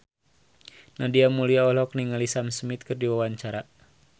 Nadia Mulya olohok ningali Sam Smith keur diwawancara